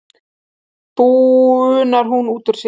bunar hún út úr sér.